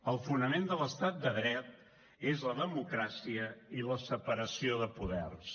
el fonament de l’estat de dret és la democràcia i la separació de poders